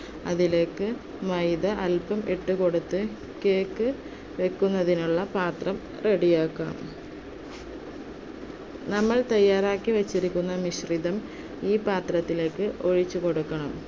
അതിലേക്ക് മൈദ അല്പം ഇട്ടുകൊടുത്തു, cake വയ്ക്കുന്നതിനുള്ള പാത്രം ready ആക്കാം. നമ്മൾ തയ്യാറാക്കിവെച്ചിരിക്കുന്ന മിശ്രിതം, ഈ പാത്രത്തിലേക്ക് ഒഴിച്ചു കൊടുക്കണം.